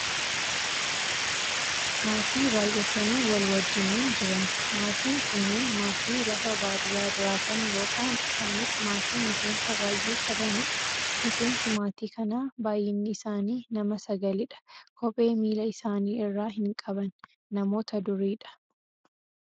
Maatii baayyatanii wal wajjiiniin jiran, maatiin kunneen maatii lafa baadiyyaa jiraatan yoo ta'an isaanis maatii miseensa baayyee qabanidha. Miseensi maatii kanaa baayyinni isaanii nama sagalidha. Kophee miila isaanii irraa hin qaban, namoota duriidha.